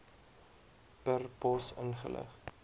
per pos ingelig